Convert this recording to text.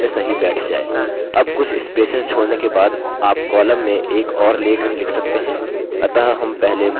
अब कुछ spaces छोड़ने के बाद आप column में एक और लेख लिख सकते हैं